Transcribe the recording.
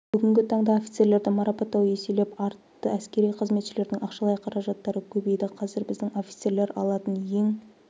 бүгінгі таңда офицерлерді марапаттау еселеп артты әскери қызметшілердің ақшалай қаражаттары көбейді қазір біздің офицерлер алатын ең